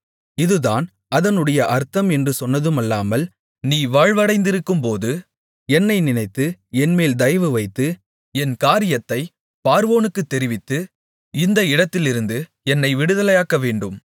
இதுதான் அதனுடைய அர்த்தம் என்று சொன்னதுமல்லாமல் நீ வாழ்வடைந்திருக்கும்போது என்னை நினைத்து என்மேல் தயவுவைத்து என் காரியத்தைப் பார்வோனுக்குத் தெரிவித்து இந்த இடத்திலிருந்து என்னை விடுதலையாக்கவேண்டும்